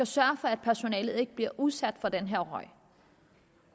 sørger for at personalet ikke bliver udsat for den her røg